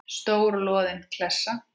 Stór loðin klessa.